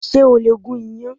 Ṣé o lè gún iyàn